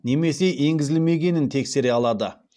немесе енгізілмегенін тексере алады